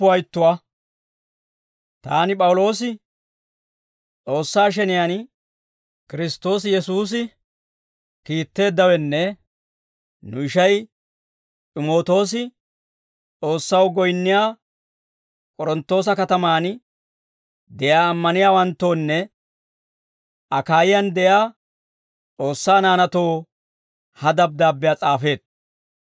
Taani P'awuloosi, S'oossaa sheniyaan, Kiristtoosi Yesuusi kiitteeddawenne nu ishay S'imootoosi S'oossaw goyinniyaa K'oronttoosa katamaan de'iyaa ammaniyaawanttoonne Akaayiyaan de'iyaa S'oossaa naanaatoo ha dabddaabbiyaa s'aafeetto.